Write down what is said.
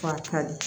ka di